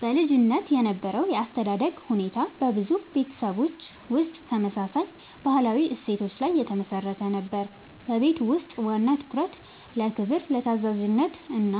በልጅነት የነበረው የአስተዳደግ ሁኔታ በብዙ ቤተሰቦች ውስጥ ተመሳሳይ ባህላዊ እሴቶች ላይ የተመሠረተ ነበር። በቤት ውስጥ ዋና ትኩረት ለክብር፣ ለታዛዥነት እና